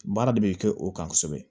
Baara de bɛ kɛ o kan kosɛbɛ